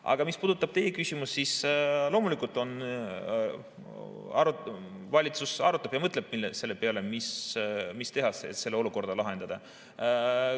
Aga mis puudutab teie küsimust, siis loomulikult, valitsus arutab ja mõtleb selle peale, mis teha, et seda olukorda lahendada.